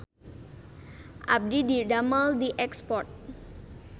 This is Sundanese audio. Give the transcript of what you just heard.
Abdi didamel di Export